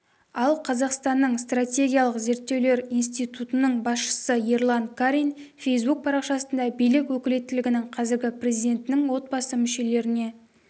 ал қазақстанның стратегиялық зерттеулер институтының басшысы ерлан карин фэйсбук парақшасында билік өкілеттігінің қазіргі президенттің отбасы мүшелеріне